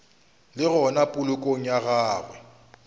le gona polokong ya gagwe